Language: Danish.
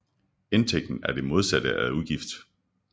Indtægt er det modsatte af udgift